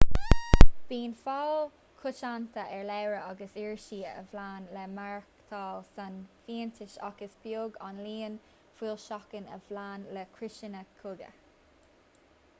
bíonn fáil choitianta ar leabhar agus irisí a phléann le maireachtáil san fhiántais ach is beag an líon foilseachán a phléann le criosanna cogaidh